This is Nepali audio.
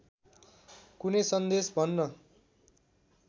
कुनै सन्देश भन्न